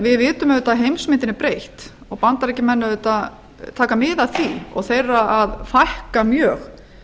við vitum auðvitað að heimsmyndin er breytt og bandaríkjamenn taka auðvitað mið af því og þeir eru að fækka mjög